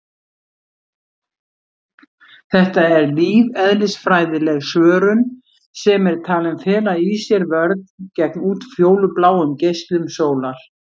Þetta er lífeðlisfræðileg svörun sem er talin fela í sér vörn gegn útfjólubláum geislum sólar.